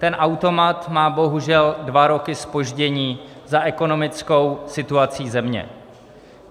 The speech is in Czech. Ten automat má bohužel dva roky zpoždění za ekonomickou situací země.